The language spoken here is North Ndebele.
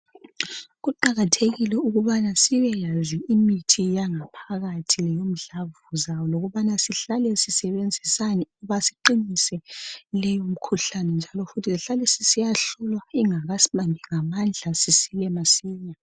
kuqakathekile ukuba sibeyazi imithi yangaphakathi komdlavuzane ukubana sihlale sisebenzisani ukuba siqinise le mikhuhlane njalo futhi sihlale siyahlula ingakasibambi ngamandla sisile masinya